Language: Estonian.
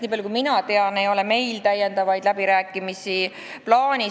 Nii palju kui mina tean, ei ole meil lisaläbirääkimisi plaanis.